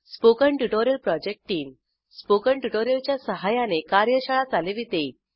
spoken tutorial project team spoken tutorial च्या सहाय्याने कार्यशाळा चालविते